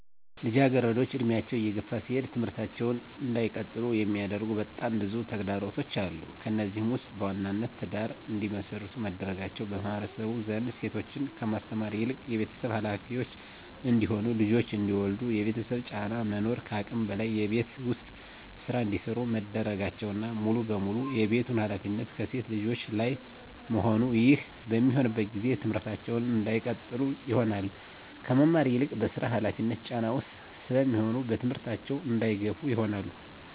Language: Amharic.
ልጃገረዶች እድሜያቸው እየገፋ ሲሄድ ትምህርታቸውን እንዳይቀጥሉ የሚያደርጉ በጣም ብዙ ተግዳሮቶች አሉ። ከነዚህም ውስጥ በዋናነት ትዳር እንዲመሰርቱ መደረጋቸው በማህበረሰቡ ዘንድ ሴቶችን ከማስተማር ይልቅ የቤተሰብ ሀላፊዎች እንዲሆኑ ልጆች እንዲወልዱ የቤተሰብ ጫና መኖር ከአቅም በላይ የቤት ውስጥ ስራ እንዲሰሩ መደረጋቸውና ሙሉ በሙሉ የቤቱን ሀላፊነት ከሴት ልጆች ላይ መሆኑ ይህ በሚሆንበት ጊዜ ትምህርታቸውን እንዳይቀጥሉ ይሆናሉ። ከመማር ይልቅ በስራ ሀላፊነት ጫና ውስጥ ስለሚሆኑ በትምህርታቸው እንዳይገፋ ይሆናሉ።